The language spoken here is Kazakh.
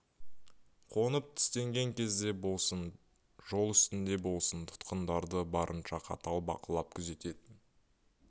қонып түстенген кезде болсын жол үстінде болсын тұтқындарды барынша қатал бақылап күзететін